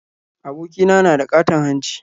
Abokina na da ƙaton hanci